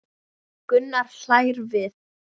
Gunnar hlær við.